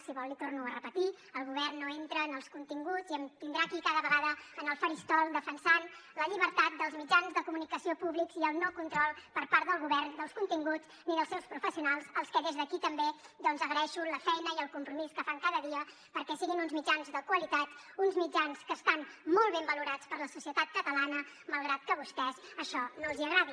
si vol li torno a repetir el govern no entra en els continguts i em tindrà aquí cada vegada en el faristol defensant la llibertat dels mitjans de comunicació públics i el no control per part del govern dels continguts ni dels seus professionals als que des d’aquí també doncs agraeixo la feina i el compromís que fan cada dia perquè siguin uns mitjans de qualitat uns mitjans que estan molt ben valorats per la societat catalana malgrat que a vostès això no els agradi